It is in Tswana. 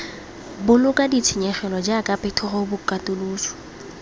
boloka ditshenyegelo jaaka phetogo katoloso